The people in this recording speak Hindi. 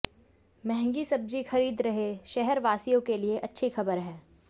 महंगी सब्जी खरीद रहे शहरवासियों के लिए अच्छी खबर है